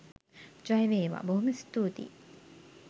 ජයවේවා.බොහෝම ස්තූතියි!.